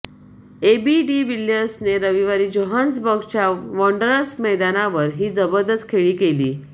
AB de विलियर्सने रविवारी जोहान्सबर्गच्या वांडरर्स मैदानावर ही जबरदस्त खेळी केली